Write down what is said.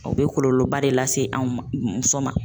O bɛ kɔlɔlɔba de lase se an ma muso ma.